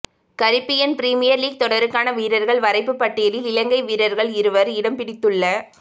Caribbean premier league தொடருக்கான வீரர்கள் வரைபுப் பட்டியலில் இலங்கை வீரர்கள் இருவர் இடம்பிடித்துள்